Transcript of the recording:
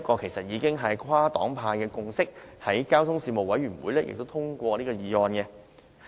其實，這已是跨黨派的共識，交通事務委員會亦已通過這項議案。